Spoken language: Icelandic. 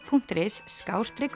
punktur is